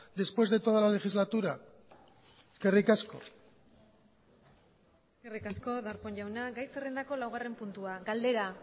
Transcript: después de toda la legislatura eskerrik asko eskerrik asko darpón jauna gai zerrendako laugarren puntua galdera